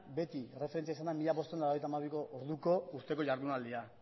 beti erreferentzia izan da mila bostehun eta laurogeita hamabiko orduko urteko ihardunaldia